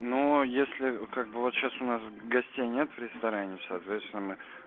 ну если как бы вот сейчас у нас гостей нет в ресторане соответственно